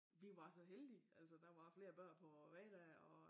Vi var så heldige altså der var flere børn på vejen dér og